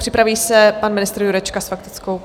Připraví se pan ministr Jurečka s faktickou.